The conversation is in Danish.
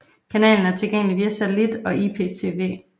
Kanalen er tilgængelig via satellit og IPTV